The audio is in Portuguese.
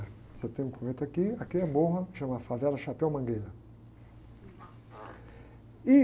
Você tem um convento aqui, aqui é morro, chama Favela Chapéu Mangueira. Ih...